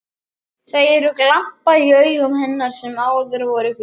Það eru glampar í augum hennar sem áður voru gul.